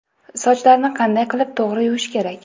Sochlarni qanday qilib to‘g‘ri yuvish kerak?